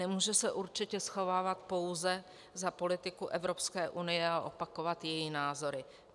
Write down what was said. Nemůže se určitě schovávat pouze za politiku Evropské unie a opakovat její názory.